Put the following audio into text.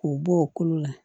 K'u bɔ o kolo la